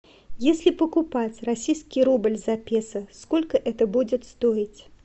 если покупать российский рубль за песо сколько это будет стоить